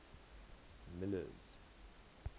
miller's